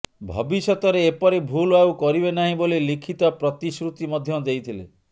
ଭବିଷ୍ୟତରେ ଏପରି ଭୁଲ୍ ଆଉ କରିବେ ନାହିଁ ବୋଲି ଲିଖିତ ପ୍ରତିଶ୍ରୁତି ମଧ୍ୟ ଦେଇଥିଲେ